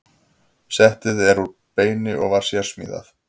Settið er úr beini og var sérsmíðað.